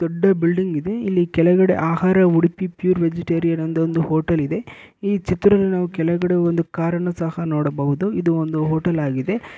ದೊಡ್ಡ ಬಿಲ್ಡಿಂಗ್ ಇದೆ ಇಲ್ಲಿ ಕೆಳಗೆ ಆಹಾರ ಪ್ಯೂರ್ ವೆಜಿಟೇರಿಯನ್ ಅಂತ ಒಂದು ಹೋಟೆಲಿದೆ ಈ ಚಿತ್ರದಲ್ಲಿ ನಾವು ಒಂದು ಕಾರನ್ನು ಸಹ ನೋಡಬಹುದು ಇದು ಹೋಟೆಲ್ ಆಗಿದೆ